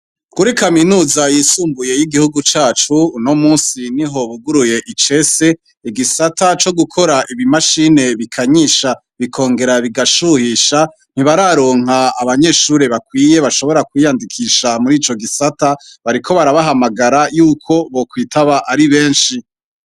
Kuri kaminuza yisumbuye y’igihugu cacu, uno munsi niho buguruye icese, igisata co gukora ibimashine bikanyisha bikongera bigashuyisha. Nibararonke abanyeshure bakwiye bashobora kwiyandikisha muri ico gisata, bariko barabahagamagara yuko bokwitaba ari benshi.